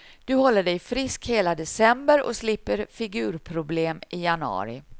Då håller du dig frisk hela december och slipper figurproblem i januari.